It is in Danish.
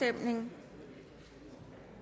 er der nogen